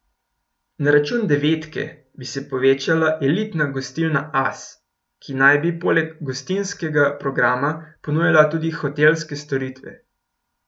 Na račun Devetke bi se povečala elitna gostilna As, ki naj bi poleg gostinskega programa ponujala tudi hotelske storitve.